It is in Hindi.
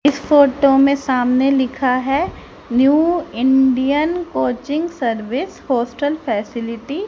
इस फोटो में सामने लिखा है new Indian coaching service hostel facility.